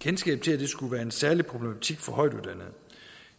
kendskab til at det skulle være en særlig problematik for højtuddannede